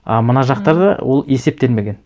а мына жақтарда ол есептелмеген